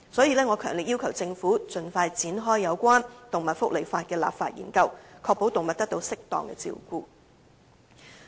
因此，我強烈要求政府盡快展開有關動物福利法例的立法研究，確保動物得到適當的照顧。